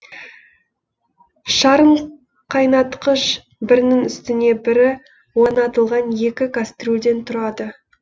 шарынқайнатқыш бірінің үстіне бірі орнатылған екі кастрюльден тұрады